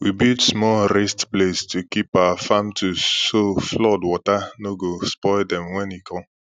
we build small raised place to keep our farm tools so flood water no go spoil dem when e come